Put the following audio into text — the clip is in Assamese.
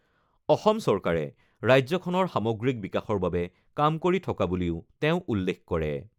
অসম চৰকাৰে ৰাজ্যখনৰ সামগ্ৰিক বিকাশৰ বাবে কাম কৰি থকা বুলিও তেওঁ উল্লেখ কৰে।